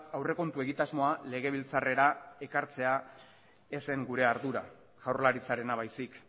aurrekontu egitasmoa legebiltzarrera ekartzea ez zen gure ardura jaurlaritzarena baizik